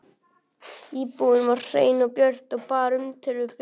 Íbúðin var hrein og björt og bar umtöluðu fegurðarskyni vitni.